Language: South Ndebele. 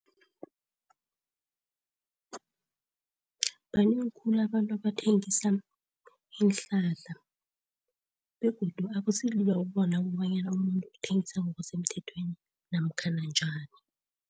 Banengi khulu abantu abathengisa iinhlahla begodu akusilula ukubona kobanyana umuntu uthengisa ngokusemthethweni namkhana njani?